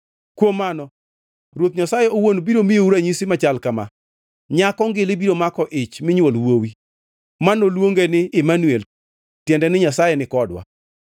Kuom mano Ruoth Nyasaye owuon biro miyou ranyisi machal kama: Nyako ngili biro mako ich minywol wuowi, ma noluonge ni Imanuel (tiende ni Nyasaye nikodwa).